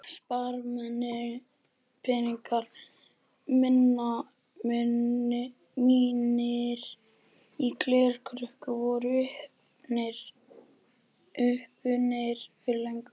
Sparipeningarnir mínir í glerkrukkunni voru uppurnir fyrir löngu.